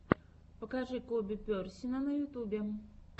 покажи коби персина на ютюбе